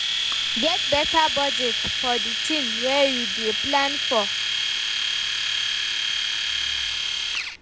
Get better budget for the thing wey you dey plan for